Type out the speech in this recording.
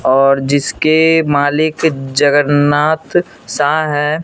और जिसके मालिक जगन्नाथ शाह हैं।